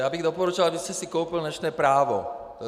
Já bych doporučoval, abyste si koupil dnešní právo.